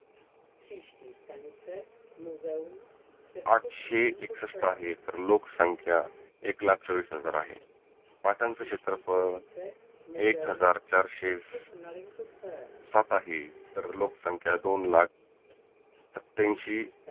आठशे एकसष्ठ आहे. तर लोक संख्या एक लाख चोविस हजार आहे. पाटानचं क्षेत्रफळ एक हजार चारशे साठ आहे. तर लोक संख्या दोन लाख सत्त्यांशी